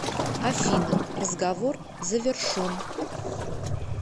афина разговор завершон